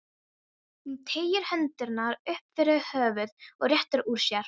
Hún teygir hendurnar upp fyrir höfuðið og réttir úr sér.